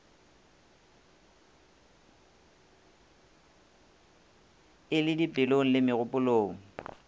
e le dipelong le megopolong